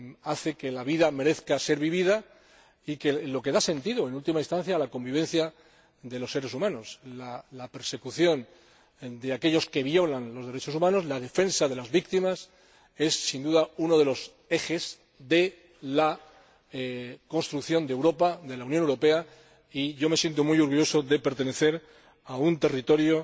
hace que la vida merezca ser vivida y es lo que da sentido, en última instancia, a la convivencia de los seres humanos. La persecución de aquellos que violan los derechos humanos, la defensa de las víctimas es, sin duda, uno de los ejes de la construcción de Europa, de la Unión Europea, y me siento muy orgulloso de pertenecer a un territorio